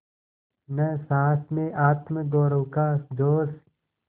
न सास में आत्मगौरव का जोश